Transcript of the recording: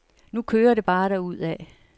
Nu kører det bare derudad.